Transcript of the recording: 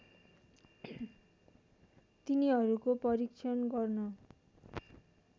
तिनीहरूको परीक्षण गर्न